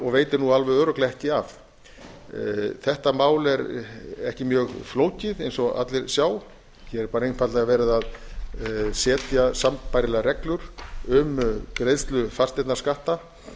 og veitir alveg örugglega ekki af þetta mál er ekki mjög flókið eins og allir sjá hér er einfaldlega verið að setja sambærilegar reglur um greiðslu fasteignaskatta